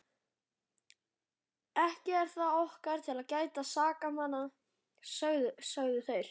Ekki er það okkar að gæta sakamanna, sögðu þeir.